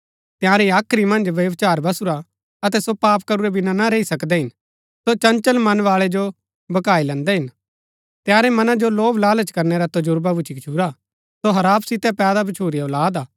तिआंरी हाख्री मन्ज व्यभिचार बसुरा अतै सो पाप करूरै बिना ना रैई सकदै हिन सो चंचल मनवाळै जो भकाई लैन्दै हिन तंयारै मनां जो लोभ लालच करनै रा तर्जबा भूच्ची गछूरा सो हराप सितै पैदा भच्छुरी औलाद हा